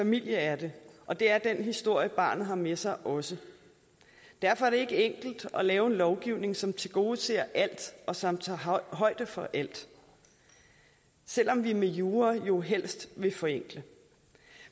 familie er det og det er den historie barnet har med sig også derfor er det ikke enkelt at lave en lovgivning som tilgodeser alt og som tager højde for alt selv om vi med jura jo helst vil forenkle